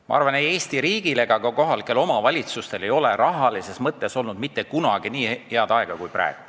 Ma arvan, et ei Eesti riigil ega ka kohalikel omavalitsustel pole rahalises mõttes olnud mitte kunagi nii head aega kui praegu.